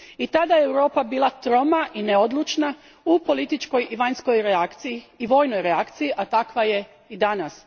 I tada je Europa bila troma i neodlučna u političkoj i vanjskoj reakciji, i vojnoj reakciji, a takva je i danas.